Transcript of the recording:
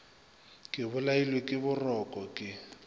ke bolailwe ke boroko ke